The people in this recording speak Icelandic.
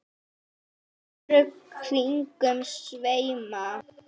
örlög kringum sveima